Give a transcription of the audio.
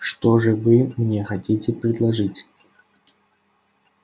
что же вы мне хотите предложить